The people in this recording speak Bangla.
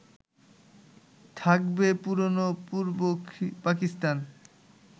থাকবে পুরনো পূর্ব পাকিস্তান